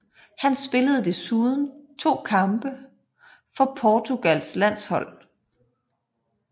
Han spillede desuden to kampe for Portugals landshold